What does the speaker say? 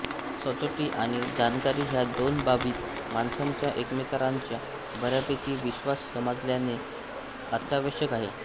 सचोटी आणि जाणकारी ह्या दोन बाबीत माणसांचा एकमेकांवरचा बर्यापैकी विश्वास समाजचालनेला अत्यावश्यक आहे